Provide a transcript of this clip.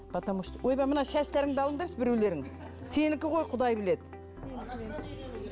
потому что ойбай мына шаштарыңды алыңдаршы біреулерің сенікі ғой құдай біледі